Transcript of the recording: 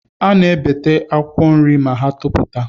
A na-ebete akwa nri ma ha toputa